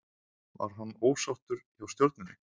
Var hann ósáttur hjá Stjörnunni?